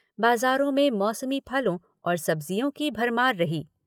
बाज़ारो में मौसमी फलो और सब्ज़ियों की भरभार रही।